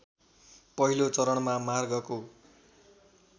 पहिलो चरणमा मार्गको